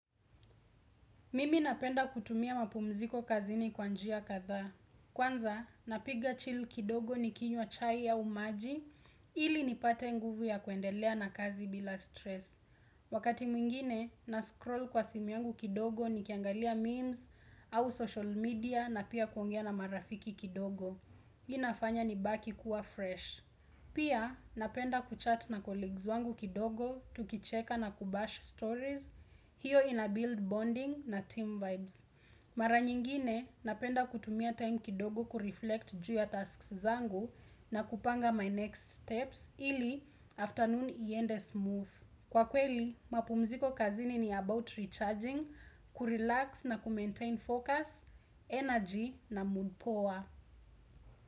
Mimi napenda kutumia mapumziko kazi ni kwanjia kadhaa. Kwanza, napiga chill kidogo ni kinywa chai au maji, ili nipate nguvu ya kuendelea na kazi bila stress. Wakati mwingine, nascroll kwa simu yangu kidogo ni kiangalia memes au social media na pia kuongea na marafiki kidogo. Inafanya ni baki kuwa fresh. Pia, napenda kuchat na colleagues wangu kidogo, tukicheka na kubash stories. Hiyo ina build bonding na team vibes. Mara nyingine napenda kutumia time kidogo kureflect juu ya tasks zangu na kupanga my next steps ili afternoon iende smooth. Kwa kweli mapumziko kazini ni about recharging, kurelax na kumaintain focus, energy na mood power.